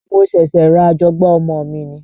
Mo ṣẹ̀ṣẹ̀ ra àjọgbá ọmọ mi ni